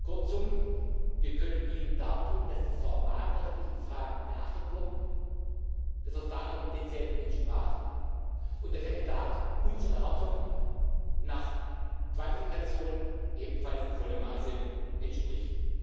Kurzum Wir können Ihnen dartun, dass die formalrechtlichen Regeln beachtet wurden, das Verfahren denselben entsprach und der Kandidat unseren Erwartungen hinsichtlich der Qualifikation ebenfalls in vollem Maße entspricht.